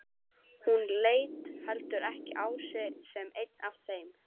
Hún leit heldur ekki á sig sem einn af þeim.